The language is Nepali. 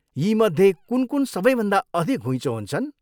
यीमध्ये कुन कुन सबैभन्दा अधिक घुइँचो हुन्छन्?